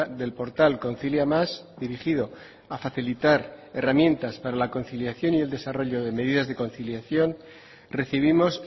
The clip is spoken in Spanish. del portal concilia más dirigido a facilitar herramientas para la conciliación y el desarrollo de medidas de conciliación recibimos